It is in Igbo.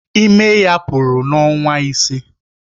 Ime ya pụrụ n'ọnwa ise.